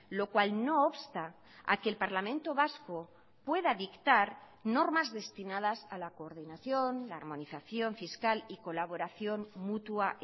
lo cual no obsta a que el parlamento vasco pueda dictar normas destinadas a la coordinación la armonización fiscal y colaboración mutua